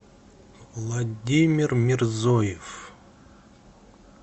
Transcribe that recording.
владимир мерзоев